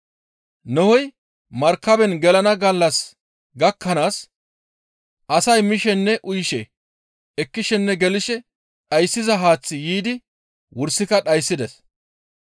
Nohey markaben gelana gallas gakkanaas asay mishininne uyishin, ekkishininne gelishin dhayssiza haaththi yiidi wursika dhayssides.